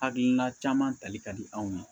Hakilina caman tali ka di anw ye